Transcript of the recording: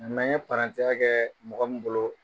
N ye parantiya kɛ mɔgɔ min bolo.